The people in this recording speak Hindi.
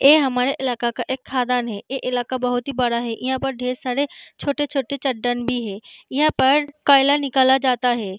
ये हमारे इलाके का एक खदान है ये इलाका बोहोत ही बड़ा है यहाँ पे ढेर सारे छोटे-छोटे चट्टान भी है यहाँ पर कोयला निकाला जाता है।